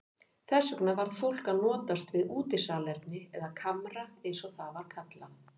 Þess vegna varð fólk að notast við útisalerni eða kamra eins og það var kallað.